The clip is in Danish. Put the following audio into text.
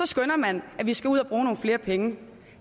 skønner man at vi skal ud at bruge nogle flere penge